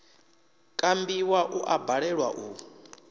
kambiwa u a balelwa u